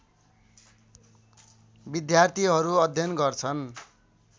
विद्यार्थीहरू अध्ययन गर्छन्